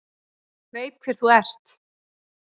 Veit hver þú ert.